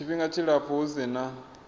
tshifhinga tshilapfu hu si na